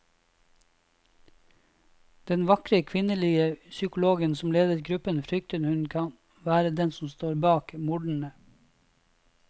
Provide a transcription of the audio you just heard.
Den vakre kvinnelige psykologen som leder gruppen frykter hun kan være den som står bak mordene.